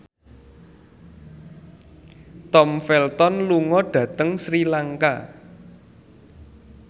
Tom Felton lunga dhateng Sri Lanka